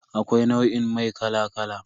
Akwai nau'in mai kala kala.